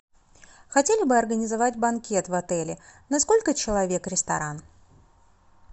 хотели бы организовать банкет в отеле на сколько человек ресторан